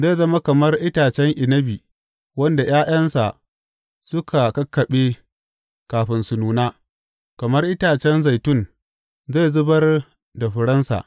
Zai zama kamar itacen inabi wanda ’ya’yansa suka kakkaɓe kafin su nuna, kamar itacen zaitun zai zubar da furensa.